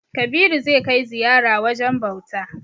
Kabiru zai kai ziyara wajen bauta.